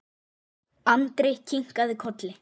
Andri kinkaði kolli.